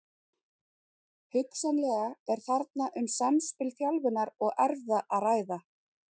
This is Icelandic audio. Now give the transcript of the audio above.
Hugsanlega er þarna um samspil þjálfunar og erfða að ræða.